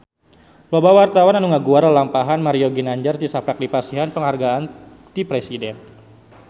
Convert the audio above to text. Loba wartawan anu ngaguar lalampahan Mario Ginanjar tisaprak dipasihan panghargaan ti Presiden